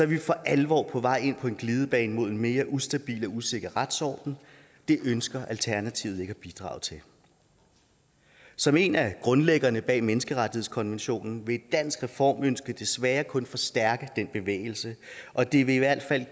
vi for alvor på vej ind på en glidebane mod en mere ustabil og usikker retsorden og det ønsker alternativet ikke at bidrage til som en af grundlæggerne bag menneskerettighedskonventionen vil et dansk reformønske desværre kun forstærke den bevægelse og det vil i hvert fald